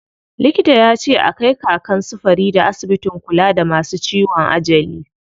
Likita yace a kai Kakan su Farida asibitin kula da masu ciwon ajali.